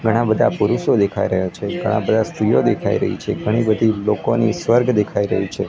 ઘણા બધા પુરુષો દેખાય રહ્યા છે ઘણા બધા સ્ત્રીઓ દેખાય રહી છે ઘણી બધી લોકોની સ્વર્ગ દેખાય રહી છે.